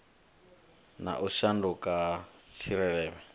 na u shanduka ha tshileme